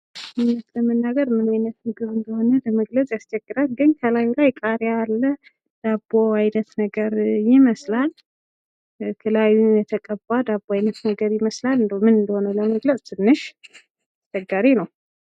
እዉነት ለመናገር ምን አይነት ምግብ እነደሆነ ለመግለጽ ያስቸግራል። ግን ከላዩ ላይ ቃሪያ አለ። ዳቦ አይነት ነገር ይመስላል። ላዩ የተቀባ ዳቦ አይነት ነገር ይመስላል። እንደው ምን እነደሆነ ለመግለጽ አስቸጋሪ ነው።